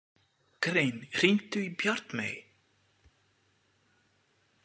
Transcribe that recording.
Grein, hringdu í Bjartmey.